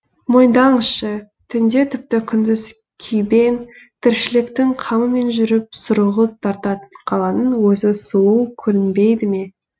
мойындаңызшы түнде тіпті күндіз күйбең тіршіліктің қамымен жүріп сұрғылт тартатын қаланың өзі сұлу көрінбейді ме